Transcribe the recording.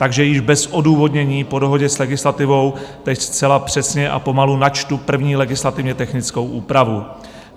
Takže již bez odůvodnění po dohodě s legislativou teď zcela přesně a pomalu načtu první legislativně technickou úpravu.